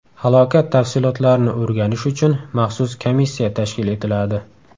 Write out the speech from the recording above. Halokat tafsilotlarini o‘rganish uchun maxsus komissiya tashkil etiladi.